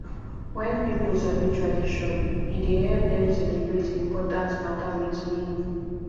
wen pipo sabi tradition e dey help dem celebrate important mata wit meaning